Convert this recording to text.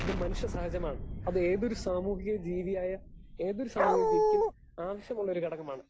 Speaker 2 അത് മനുഷ്യസഹജമാണ്. അത് ഏതൊരു സാമൂഹിക ജീവിയായാൽ ഏതൊരു സാമൂഹിക ജീവിക്കും ആവശ്യമുള്ളൊരു ഘടകമാണ്.